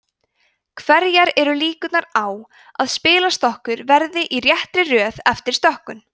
hverjar eru líkurnar á að spilastokkur verði í réttri röð eftir stokkun